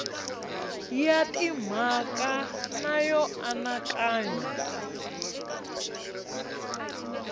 ya timhaka na yo anakanya